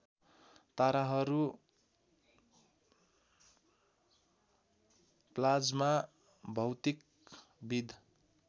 ताराहरू प्लाज्मा भौतिकविद